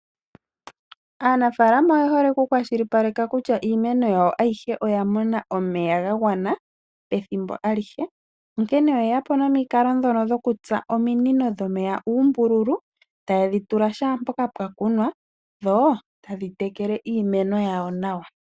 Aanafaalama oye hole okukwashilipaleka kutya iimeno yawo ayihe oya mona omeya ga gwana ethimbo alihe, onkene oye ya po nomukalo ngono gokutsa ominino dhomeya uumbululu taye dhi tula shaampoka pwa kunwa dho tadhi tekele iimeno yawo nawa.